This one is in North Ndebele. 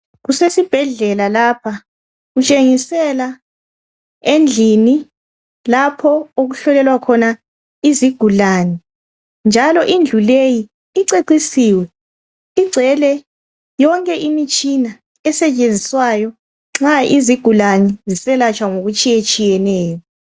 Kusesibhedlela lapha kutshengisela endlini lapho okuhlolelwa khona izigulane. Indlu le icecisiwe igcwele yonke imitshina esetshenziswayo nxa izigulane ziselatshwa ngokutshiyetshiyeneyo.